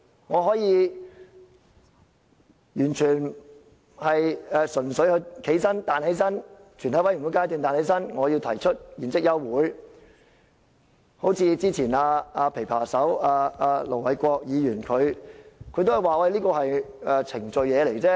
我可以在全體委員會階段站起來說，我要提出現即休會待續議案，好像之前"琵琶手"盧偉國議員也說，這是程序而已。